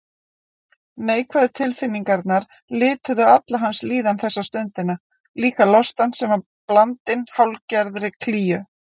Neikvæðu tilfinningarnar lituðu alla hans líðan þessa stundina, líka lostann sem var blandinn hálfgerðri klígju.